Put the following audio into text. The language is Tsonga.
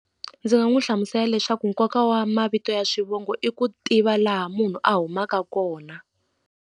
Ndzi nga n'wi hlamusela leswaku nkoka wa mavito ya swivongo i ku tiva laha munhu a humaka kona.